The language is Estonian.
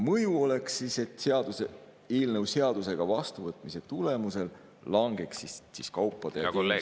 Mõju oleks see, et eelnõu seadusena vastuvõtmise tulemusel langeks kaupade ja teenuste …